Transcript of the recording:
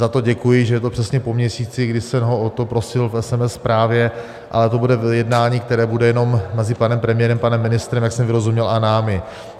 Za to děkuji, že je to přesně po měsíci, kdy jsem ho o to prosil v SMS zprávě, ale to bude jednání, které bude jenom mezi panem premiérem, panem ministrem, jak jsem vyrozuměl, a námi.